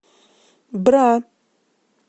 бра